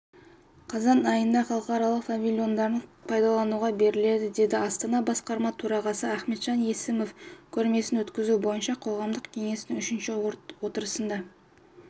қазан айында халықаралық павильондары пайдалануға беріледі деді астана басқарма төрағасы ахметжан есімов көрмесін өткізу бойынша қоғамдық кеңестің үшінші отырысында